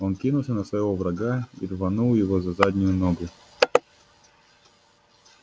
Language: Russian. он кинулся на своего врага и рванул его за заднюю ногу